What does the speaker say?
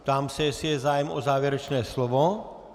Ptám se, jestli je zájem o závěrečné slovo.